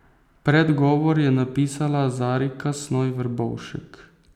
Predgovor je napisala Zarika Snoj Verbovšek.